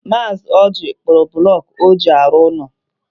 Mazi Ọji kpụrụ bụlọku ọ ji arụ ụlọ.